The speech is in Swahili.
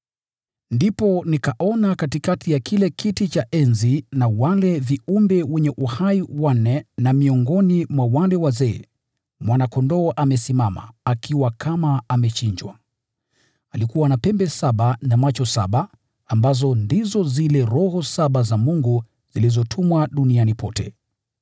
Ndipo nikaona katikati ya kile kiti cha enzi na wale viumbe wenye uhai wanne na miongoni mwa wale wazee, Mwana-Kondoo amesimama, akiwa kama amechinjwa. Alikuwa na pembe saba na macho saba, ambazo ndizo zile Roho saba za Mungu zilizotumwa duniani pote.